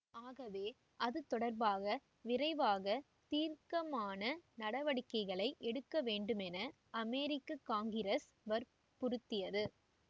ஆகவே அது தொடர்பாக விரைவாக தீர்க்கமான நடவடிக்கைகளை எடுக்க வேண்டுமென அமெரிக்க காங்கிரசு வற்புறுத்தியது